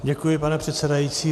Děkuji, pane předsedající.